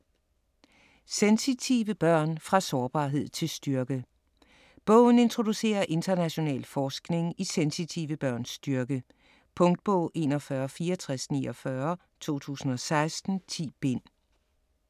Sensitive børn - fra sårbarhed til styrke Bogen introducerer international forskning i sensitive børns styrke. Punktbog 416449 2016. 10 bind.